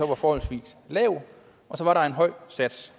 var forholdsvis lav og så var der en høj sats